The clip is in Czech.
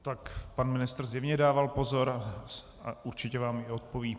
Tak pan ministr zjevně dával pozor a určitě vám i odpoví.